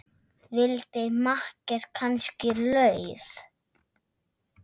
Vildi makker kannski LAUF?